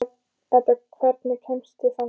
Edda, hvernig kemst ég þangað?